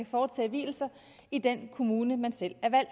foretage vielser i den kommune man selv er